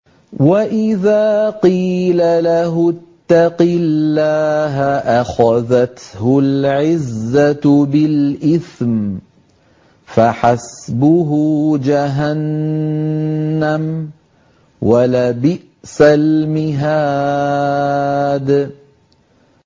وَإِذَا قِيلَ لَهُ اتَّقِ اللَّهَ أَخَذَتْهُ الْعِزَّةُ بِالْإِثْمِ ۚ فَحَسْبُهُ جَهَنَّمُ ۚ وَلَبِئْسَ الْمِهَادُ